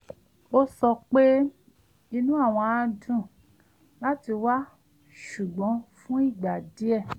ó sọ pé inú àwọn á dùn láti wá ṣùgbọ́n fún ìgbà díẹ̣̀